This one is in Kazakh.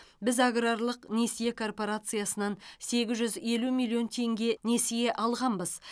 біз аграрлық несие корпорациясынан сегіз жүз елу миллион теңге несие алғанбыз